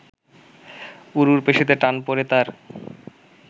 উরুর পেশিতে টান পড়ে তার